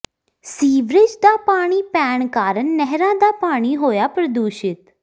sewerage ਦਾ ਪਾਣੀ ਪੈਣ ਕਾਰਨ ਨਹਿਰਾਂ ਦਾ ਪਾਣੀ ਹੋਇਆ ਪ੍ਰਦੂਸ਼ਿਤ